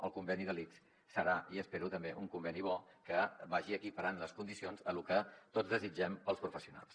el conveni de l’ics serà i ho espero també un conveni bo que vagi equiparant les condicions a lo que tots desitgem per als professionals